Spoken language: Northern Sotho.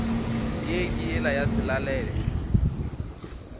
ye ke yela ya selalelo